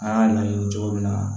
An y'a ɲɛɲini cogo min na